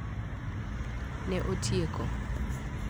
Ne otieko.